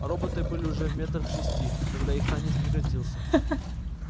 роботы были уже метрах в шести когда их танец прекратился